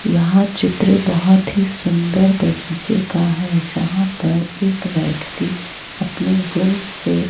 यहां चित्र बहुत ही सुंदर बगीचे का है यहां पर एक व्यक्ति अपने गुण से--